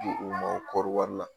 Bi u mako bɛ kɔɔri wari la